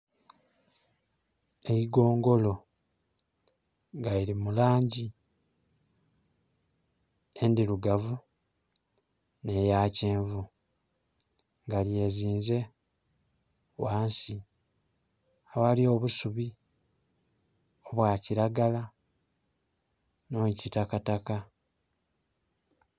Eigongolo nga liri mu langi endirugavu ne ya kyenvu, nga lyezinze wansi aghali obusubi obwa kiragala nh'ekitakataka.